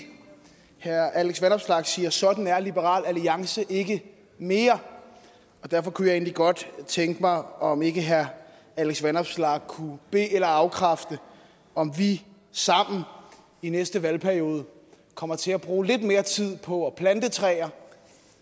herre alex vanopslagh siger at sådan er liberal alliance ikke mere og derfor kunne jeg egentlig godt tænke mig om ikke herre alex vanopslagh kunne be eller afkræfte om vi sammen i næste valgperiode kommer til at bruge lidt mere tid på at plante træer